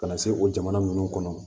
Ka na se o jamana ninnu kɔnɔ